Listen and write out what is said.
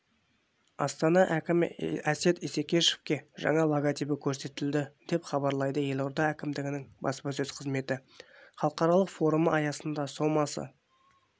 астана әкімі әсет исекешевке жаңа логотипі көрсетілді деп хабарлайдыелорда әкімдігінің баспасөз қызметі халықаралық форумы аясында сомасы